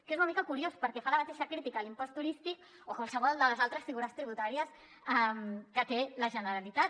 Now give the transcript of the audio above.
que és una mica curiós perquè fa la mateixa crítica a l’impost turístic o a qualsevol de les altres figures tributàries que té la generalitat